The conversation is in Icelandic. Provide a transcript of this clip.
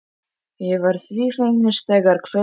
Ég var því fegnust þegar kvöldinu lauk.